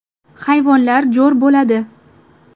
Hayvonlar jo‘r bo‘ladi.